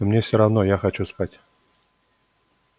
но мне все равно я хочу спать